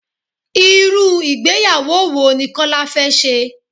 Irú ìgbéyàwó wo ni Kọ́lá fé se?